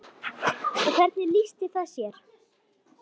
Og hvernig lýsti það sér?